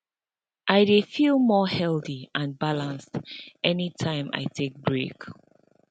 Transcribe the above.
i dey feel more healthy and balanced anytime i take break